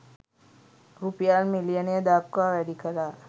රුපියල් මිලියනය දක්වා වැඩිකලා.